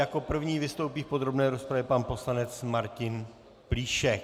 Jako první vystoupí v podrobné rozpravě pan poslanec Martin Plíšek.